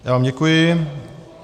Já vám děkuji.